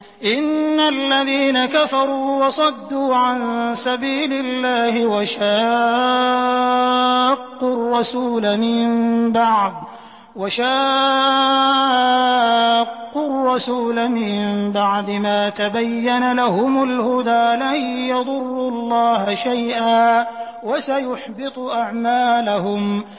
إِنَّ الَّذِينَ كَفَرُوا وَصَدُّوا عَن سَبِيلِ اللَّهِ وَشَاقُّوا الرَّسُولَ مِن بَعْدِ مَا تَبَيَّنَ لَهُمُ الْهُدَىٰ لَن يَضُرُّوا اللَّهَ شَيْئًا وَسَيُحْبِطُ أَعْمَالَهُمْ